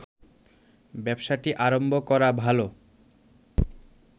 ব্যবসাটি আরম্ভ করা ভালো